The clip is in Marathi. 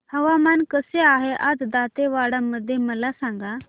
हवामान कसे आहे आज दांतेवाडा मध्ये मला सांगा